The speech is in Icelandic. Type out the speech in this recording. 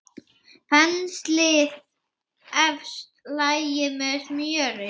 Penslið efsta lagið með smjöri.